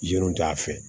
Yen t'a fɛ